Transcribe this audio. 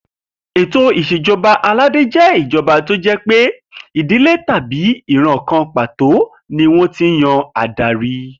Ètò ìs̩èjo̩ba aládé jé̩ irú ìjo̩ba tó jé̩ pé ìdílé tàbí ìran kan pàtó ni wó̩n ti ń yan adarí